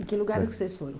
Em que lugar vocês foram?